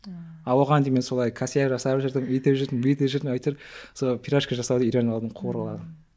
а мен оған дейін мен солай косяк жасап жүрдім өйтіп жүрдім бүйтіп жүрдім әйтеуір сол пирожки жасауды үйреніп алдым куыруға